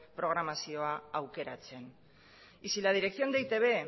programazioa aukeratzen y si la dirección de e i te be